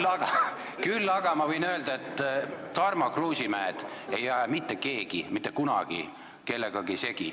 Küll aga võin ma öelda, et Tarmo Kruusimäed ei aja mitte keegi mitte kunagi kellegagi segi.